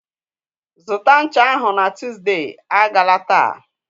Zụta ncha ahụ na Tuesday! Agala taa.